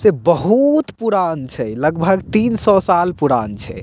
जे बहुत पुराण छै लगभग तीन सौ साल पुराण छै।